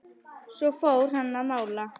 Svo fór hann að mála.